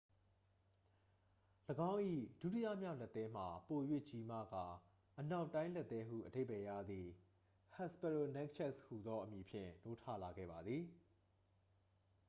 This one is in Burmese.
"၎င်း၏ ဒုတိယမြောက်လက်သည်းမှာ ပို၍ကြီးမားကာ "အနောက်တိုင်းလက်သည်း" ဟုအဓိပ္ပါယ်ရသည့် hesperonychus ဟူသောအမည်ဖြင့် နိုးထလာခဲ့ပါသည်။